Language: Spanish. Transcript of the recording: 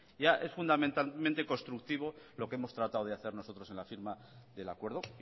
ya es fundamentalmente constructivo lo que hemos tratado de hacer nosotros en la firma del acuerdo